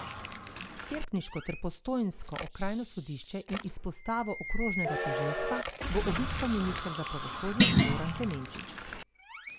Cerkniško ter postojnsko okrajno sodišče in izpostavo okrožnega tožilstva bo obiskal minister za pravosodje Goran Klemenčič.